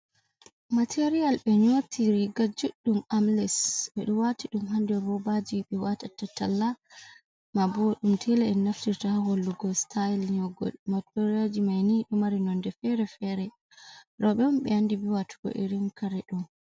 Materiyal. Ɓe nyoti riga juɗɗum amles ɓe ɗo wati ɗum ha nder robaji ɓe watata talla, ma bo ɗum tela, en naftirta ha hollugo sitayel nyogol. Materiyalji maini ɗo mari nonde fere-fere. Roɓe on ɓe andi ɓe watugo irin kare ɗo.